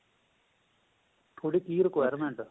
ਥੋੜੀ ਜੀ requirement